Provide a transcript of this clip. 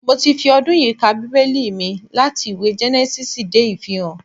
Mo ti fi ọdún yìí ka Bíbẹ́lì mi láti ìwé Gẹ́nẹ́sísì dé Ìfihàn